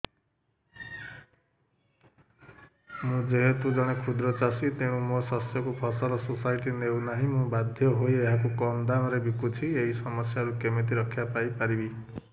ମୁଁ ଯେହେତୁ ଜଣେ କ୍ଷୁଦ୍ର ଚାଷୀ ତେଣୁ ମୋ ଶସ୍ୟକୁ ଫସଲ ସୋସାଇଟି ନେଉ ନାହିଁ ମୁ ବାଧ୍ୟ ହୋଇ ଏହାକୁ କମ୍ ଦାମ୍ ରେ ବିକୁଛି ଏହି ସମସ୍ୟାରୁ କେମିତି ରକ୍ଷାପାଇ ପାରିବି